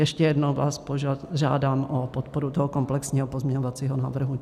Ještě jednou vás požádám o podporu toho komplexního pozměňovacího návrhu.